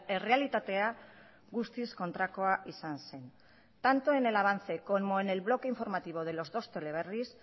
errealitatea guztiz kontrakoa izan zen tanto en el avance como en el bloque informativo de los dos teleberris